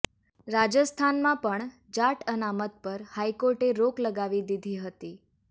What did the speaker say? રાજસ્થાનમાં પણ જાટ અનામત પર હાઇકોર્ટે રોક લગાવી દીધી હતી